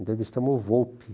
Entrevistamos o Volpi.